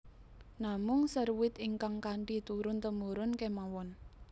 Namung seruit ingkang kanthi turun temurun kemawon